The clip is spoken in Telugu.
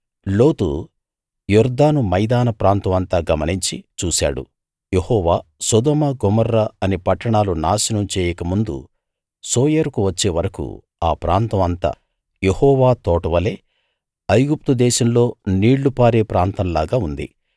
లోతు యొర్దాను మైదాన ప్రాంతం అంతా గమనించి చూశాడు యెహోవా సొదొమ గొమొర్రా అనే పట్టణాలు నాశనం చెయ్యక ముందు సోయరుకు వచ్చే వరకూ ఆ ప్రాంతం అంతా యెహోవా తోట వలే ఐగుప్తు దేశంలో నీళ్ళు పారే ప్రాంతంలాగా ఉంది